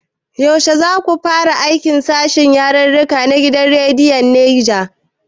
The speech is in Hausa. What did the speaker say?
Yaushe za ka fara aiki a sashen yarirrika na gidan rediyon Neja?